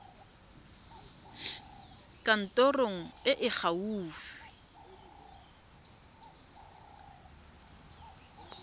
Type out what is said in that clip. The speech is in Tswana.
kantorong e e fa gaufi